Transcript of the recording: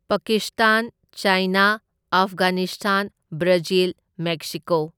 Pakistan, China, Afghanistan, Brazil, Mexico.